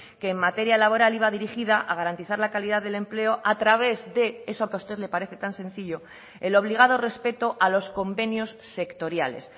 que en materia laboral iba dirigida a garantizar la calidad del empleo a través de eso que a usted le parece tan sencillo el obligado respeto a los convenios sectoriales